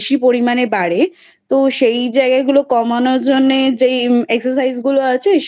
বেশি পরিমাণে বাড়ে তো সেই জায়গা গুলো কমানোর জন্যে যেই exercise গুলো আছে